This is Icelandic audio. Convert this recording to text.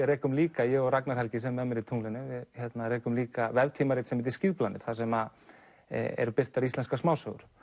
rekum líka ég og Ragnar Helgi sem er með mér í tunglinu við rekum líka veftrímarit sem heitir þar sem eru birtar íslenskar smásögur